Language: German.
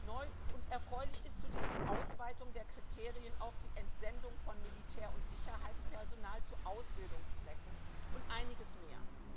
integrieren. Neu und erfreulich ist zudem die Ausweitung der Kriterien auf die Entsendung von Militär und Sicherheitspersonal zu Ausbildungszwecken und einiges